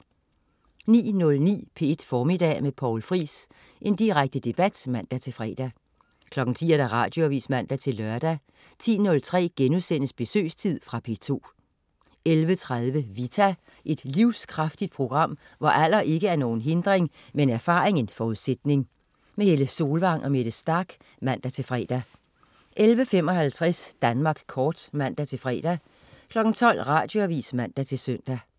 09.09 P1 Formiddag med Poul Friis. Direkte debat (man-fre) 10.00 Radioavis (man-lør) 10.03 Besøgstid.* Fra P2 11.30 Vita. Et livskraftigt program, hvor alder ikke er nogen hindring, men erfaring en forudsætning. Helle Solvang og Mette Starch (man-fre) 11.55 Danmark kort (man-fre) 12.00 Radioavis (man-søn)